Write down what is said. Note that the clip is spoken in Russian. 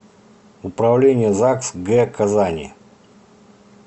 управление загс г казани